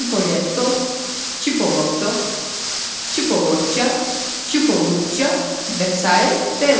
Çipolletto, Çipolotto, Çipoloçça, Çipolluçça və sair və ilaxır.